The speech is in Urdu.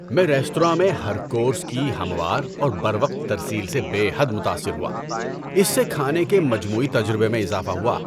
میں ریستوراں میں ہر کورس کی ہموار اور بروقت ترسیل سے بے حد متاثر ہوا، اس سے کھانے کے مجموعی تجربے میں اضافہ ہوا۔